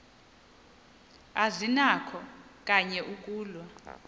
azinakho kanye ukulwa